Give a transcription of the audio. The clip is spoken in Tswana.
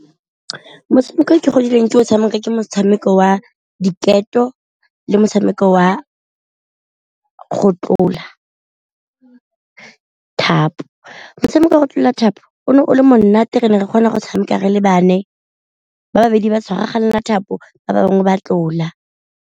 Motshameko o ke godile ke o tshameka ke motshameko wa diketo le motshameko wa go tlola thapo, motshameko wa go tlola thapo o ne o le monate re ne re kgona go tshameka re le bane ba babedi ba tshwaraganela thapo ba bangwe ba tlola.